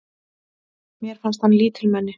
Mér fannst hann lítilmenni.